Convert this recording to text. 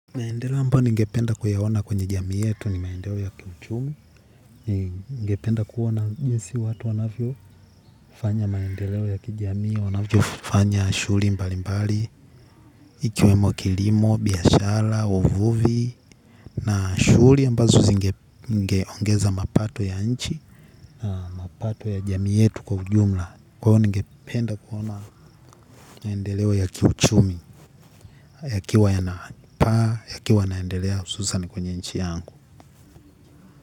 Maendeleo ambao ningependa kuyaona kwenye jamii yetu ni maendeleo ya kiuchumi, ningependa kuona jinsi watu wanafyo fanya maendeleo ya kijamii wanafyo fanya shuuri mbali mbali, ikiwemo kilimo, biashara, uvuvi, na shuuri ambazo zingeongeza mapato ya nchi, mapato ya jamii yetu kwa ujumla. Kwa hiyo ningependa kuona maendeleo ya kiuchumi, ya kiwa yana paa, ya kiwa yanaendelea hususan kwenye nchi yangu.